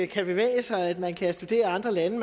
kan bevæge sig at man kan studere i andre lande